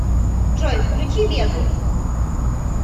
джой включи вегу